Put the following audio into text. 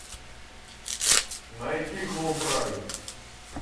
найти клуб рай